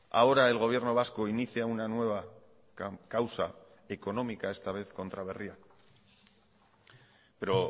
ahora el gobierno vasco inicia una nueva causa económica esta vez contra berria pero